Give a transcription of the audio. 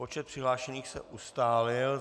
Počet přihlášených se ustálil.